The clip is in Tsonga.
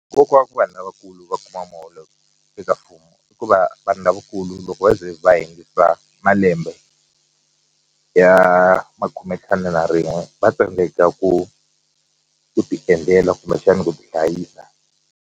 Nkoka wa ku vanhu lavakulu va kuma muholo eka mfumo i ku va vanhu lavakulu loko va ze va hindza malembe ya khumentlhanu na rin'we va tsandzeka ku ku ti endlela kumbexana ku tihlayisa.